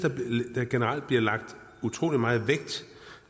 der generelt blev lagt utrolig meget